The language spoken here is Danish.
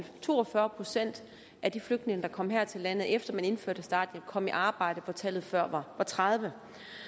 to og fyrre procent af de flygtninge der kom her til landet efter man indførte starthjælpen kom i arbejde hvor tallet før var tredive